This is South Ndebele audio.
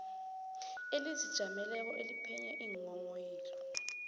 elizijameleko eliphenya iinghonghoyilo